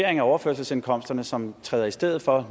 af overførselsindkomsterne som nu træder i stedet for